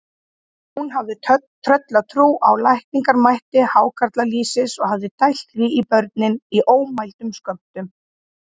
Hún hafði tröllatrú á lækningamætti hákarlalýsis og hafði dælt því í börnin í ómældum skömmtum.